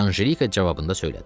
Ancelika cavabında söylədi.